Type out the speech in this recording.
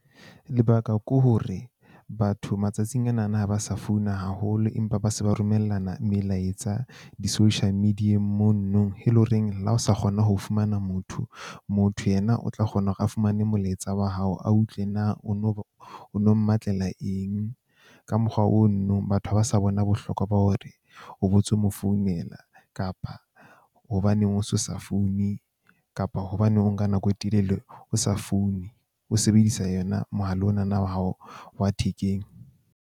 Lebaka ke hore batho matsatsing ana na ha ba sa founa haholo, empa ba se ba romellana melaetsa di-social media-eng mono. E leng horeng le ha o sa kgona ho fumana motho, motho yena o tla kgona hore a fumane molaetsa wa hao. A utlwe na o no o no mmatlela eng ka mokgwa o no nong batho ha ba sa bona bohlokwa ba hore o bo tso mo founela, kapa hobaneng o so sa foune, kapa hobaneng o nka nako e telele o sa foune. O sebedisa yona mohala ona na wa hao wa thekeng.